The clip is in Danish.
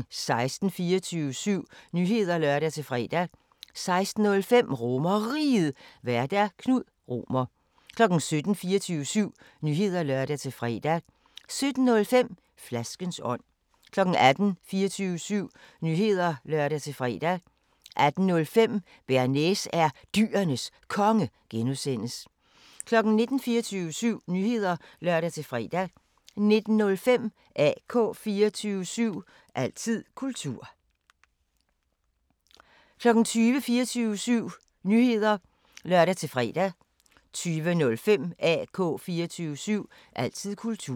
16:00: 24syv Nyheder (lør-fre) 16:05: RomerRiget, Vært: Knud Romer 17:00: 24syv Nyheder (lør-fre) 17:05: Flaskens ånd 18:00: 24syv Nyheder (lør-fre) 18:05: Bearnaise er Dyrenes Konge (G) 19:00: 24syv Nyheder (lør-fre) 19:05: AK 24syv – altid kultur 20:00: 24syv Nyheder (lør-fre) 20:05: AK 24syv – altid kultur